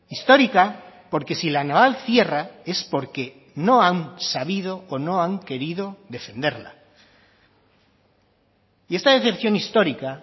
histórica porque si la naval cierra es porque no han sabido o no han querido defenderla y esta decepción histórica